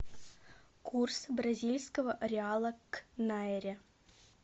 курс бразильского реала к найре